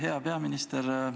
Hea peaminister!